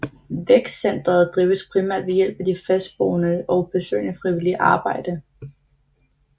Vækstcenteret drives primært ved hjælp af de fastboendes og besøgendes frivillige arbejde